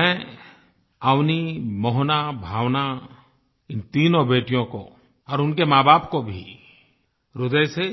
मैं अवनि मोहना भावना इन तीनों बेटियों को और उनके माँबाप को भी ह्रदय से